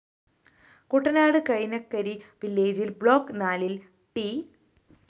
കുട്ടനാട് കൈനകരി വില്ലേജില്‍ ബ്ലോക്ക്‌ നാലില്‍ ട്‌